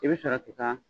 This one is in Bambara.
I bɛ sɔrɔ k'i ka